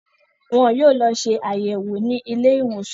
Wọn yóò lọ ṣe àyẹ̀wò ní ilé ìwòsàn